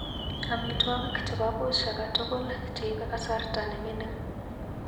Amitwagik chebo puch akatukul cheibe kasarta nemining.